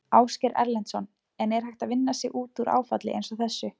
Ásgeir Erlendsson: En er hægt að vinna sig út úr áfalli eins og þessu?